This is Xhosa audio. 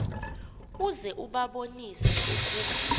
uze ubabonise ukuba